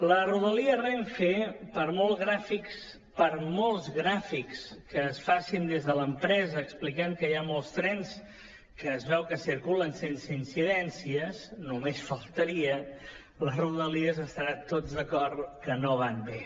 la rodalia renfe per molts gràfics que es facin des de l’empresa explicant que hi ha molts trens que es veu que circulen sense incidències només faltaria les rodalies estaran tots d’acord que no van bé